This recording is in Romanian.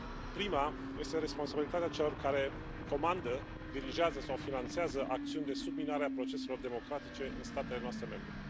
Prima este responsabilitatea celor care comandă, dirijează sau finanțează acțiuni de subminare a proceselor democratice în statele noastre membre.